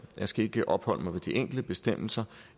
skal ikke opholde mig ved de enkelte bestemmelser